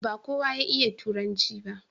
ba kowa ya iya turanci ba